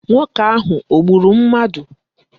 Nwoke ahụ o gburu mmadụ?